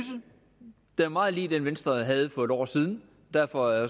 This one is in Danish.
det er meget lig den venstre havde for et år siden derfor